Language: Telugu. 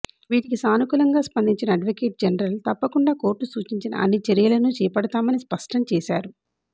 వీటికి సానుకూలంగా స్పందించిన అడ్వొకేట్ జనరల్ తప్పకుండా కోర్టు సూచించిన అన్ని చర్యలనూ చేపడతామని స్పష్టం చేశారు